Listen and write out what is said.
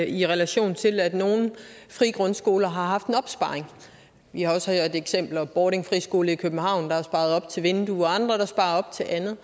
i relation til at nogle frie grundskoler har haft en opsparing vi har også eksempel bordings friskole i københavn der har sparet op til vinduer og andre der sparer op til andet